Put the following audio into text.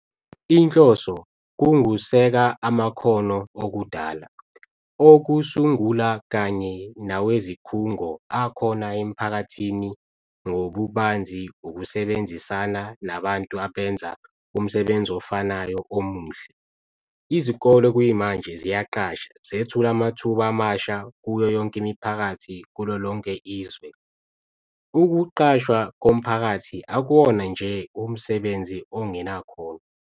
Inhloso ngukuseka amakhono okudala, okusungula kanye nawezikhungo akhona emphakathini ngobubanzi ukusebenzisana nabantu abenza umsebenzi ofanayo omuhle. Izikole kuyimanje ziyaqasha, zethula amathuba amasha kuyo yonke imiphakathi kulolonke izwe. Ukuqashwa komphakathi akuwona nje umsebenzi ongenakhono.